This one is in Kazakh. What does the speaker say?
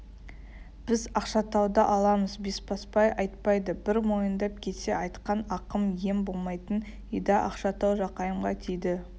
біз ақшатауды аламыз бесбасбай айтпайды бір мойындап кетсе айтқан ақыл ем болмайтын еді ақшатау жақайымға тиді